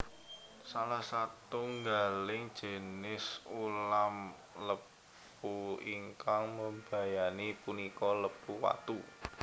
Salah satunggaling jinis ulam lepu ingkang mbebayani punika lepu watu